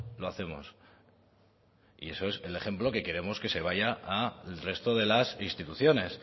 lo hacemos y eso es el ejemplo que queremos que se vaya a el resto de las instituciones